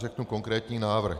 Řeknu konkrétní návrh.